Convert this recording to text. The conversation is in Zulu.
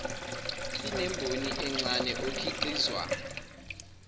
inemboni encane okhiqizwa